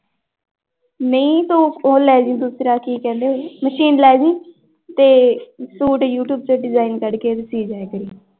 ਨਹੀਂ ਤੂੰ ਉਹ ਲੈ ਜਾਈ ਦੂਸਰਾ ਕੀ ਕਹਿੰਦੇ ਮਸੀਨ ਲੈ ਜਾਈਂ ਤੇ ਸੂਟ ਯੂਟਿਊਬ ਤੇ design ਕੱਢਕੇ ਸੀ ਦਿਆ ਕਰੀਂ।